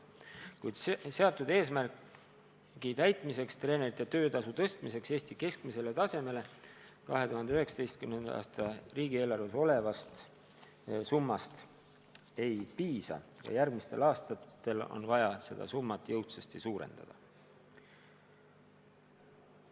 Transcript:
Kuid seatud eesmärgi täitmiseks – treenerite töötasu tõstmiseks Eesti keskmisele tasemele – 2019. aasta riigieelarves olevast summast ei piisa, järgmistel aastatel on vaja seda summat jõudsasti suurendada.